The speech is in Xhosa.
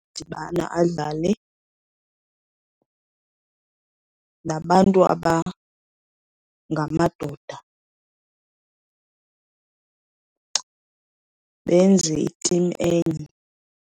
Udibana adlale nabantu abangamadoda, benze itimu enye.